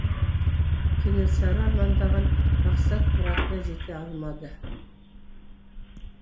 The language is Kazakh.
кенесары армандаған мақсат мұратына жете алмады